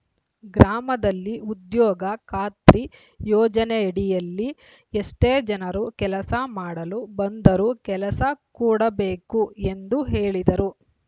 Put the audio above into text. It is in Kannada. ಗ್ರಾಮದಲ್ಲಿ ಉದ್ಯೋಗ ಖಾತ್ರಿ ಯೋಜನೆಯಡಿಲ್ಲಿ ಎಷ್ಟೇ ಜನರು ಕೆಲಸ ಮಾಡಲು ಬಂದರೂ ಕೆಲಸ ಕೊಡಬೇಕು ಎಂದು ಹೇಳಿದರು